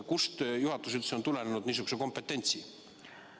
Kust juhatusele üldse on tulenenud niisugune kompetents?